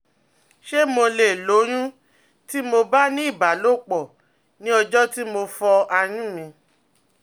Ṣé mo lè lóyún tí mo bá ní ìbálòpọ̀ ní ọjọ́ tí mo fọ́ àyún mi?